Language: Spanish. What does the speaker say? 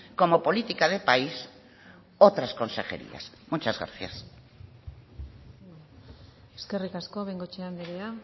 como política de país otras consejerías muchas gracias eskerrik asko bengoechea andrea